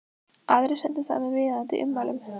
Aðrir sendu það með viðeigandi ummælum.